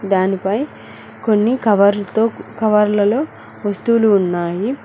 దాని పై కొన్ని కవర్ల్తో కవర్లలో వస్తువులు ఉన్నాయి.